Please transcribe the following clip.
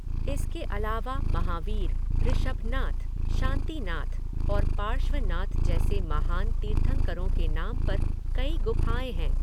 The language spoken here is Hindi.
इसके अलावा, महावीर, ऋषभनाथ, शांतिनाथ और पार्श्वनाथ जैसे महान तीर्थंकरों के नाम पर कई गुफाएँ हैं।